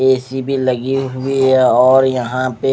AC भी लगे हुए है और यह पे--